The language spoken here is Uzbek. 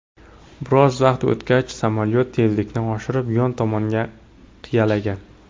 Biroz vaqt o‘tgach, samolyot tezlikni oshirib, yon tomonga qiyalagan.